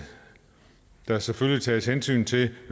der selvfølgelig tages hensyn til